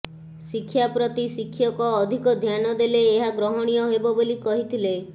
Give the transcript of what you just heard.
ଶିକ୍ଷା ପ୍ରତି ଶିକ୍ଷକ ଅଧିକ ଧ୍ୟାନ ଦେଲେ ଏହା ଗ୍ରହଣୀୟ ହେବ ବୋଲି କହିଥିଲେ